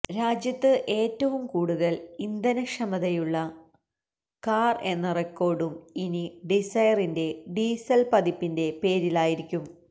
രാജ്യത്ത് ഏറ്റവും കൂടുതല് ഇന്ധനക്ഷതമയുള്ള കാര് എന്ന റെക്കോര്ഡും ഇനി ഡിസൈറിന്റെ ഡീസല് പതിപ്പിന്റെ പേരിലായിരിക്കും